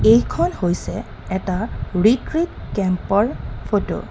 এইখন হৈছে এটা ৰেক্ৰুইত কেম্প ৰ ফটো .